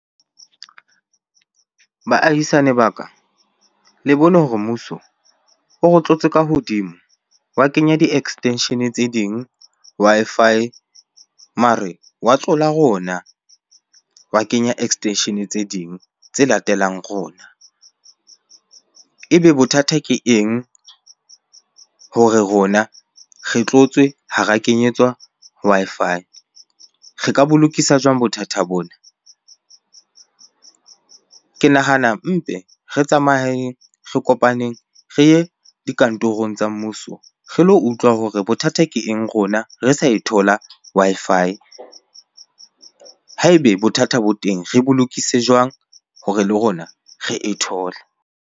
Baahisane ba ka le bone hore mmuso o re tlotse ka hodimo. Wa kenya di-extension-e tse ding Wi-Fi mare wa tlola rona, wa kenya extension-e tse ding tse latelang rona. Ebe bothata ke eng hore rona re tlotswe ha ra kenyetswa Wi-Fi? Re ka bo lokisa jwang bothata bona? Ke nahana mpe re tsamayeng, re kopaneng re ye dikantorong tsa mmuso re lo utlwa hore bothata ke eng rona re sa e thola Wi-Fi? Ha ebe bothata bo teng, re bo lokise jwang hore le rona re e thole?